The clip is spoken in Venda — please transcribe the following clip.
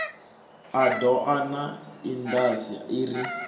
a doa na indas iri